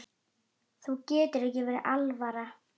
Þér getur ekki verið alvara.